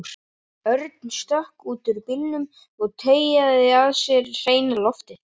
Örn stökk út úr bílnum og teygaði að sér hreina loftið.